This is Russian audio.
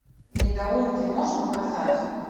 недоумки можешь показать